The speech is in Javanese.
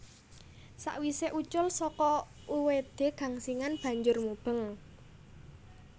Sawisé ucul saka uwedé gangsingan banjur mubeng